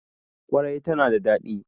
ƙwarai tana da daɗi.